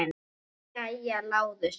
Jæja, Lárus minn.